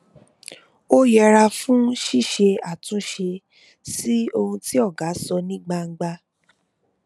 ó yẹra fún ṣiṣe atunṣe si ohun ti ọga sọ ní gbangba